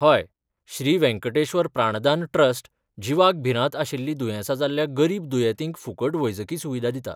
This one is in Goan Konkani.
हय, श्री वेंकटेश्वर प्राणदान ट्रस्ट जिवाक भिरांत आशिल्लीं दुयेंसां जाल्ल्या गरीब दुयेंतींक फुकट वैजकी सुविधा दिता.